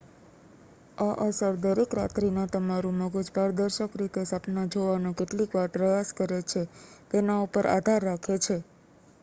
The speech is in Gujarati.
આ અસર દરેક રાત્રિના તમારું મગજ પારદર્શક રીતે સપના જોવાનો કેટલીવાર પ્રયાસ કરે છે તેના ઉપર આધાર રાખે છે